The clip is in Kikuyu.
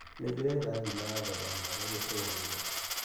Nĩndĩretha ngima ya thogora mwega gĩcũa-inĩ .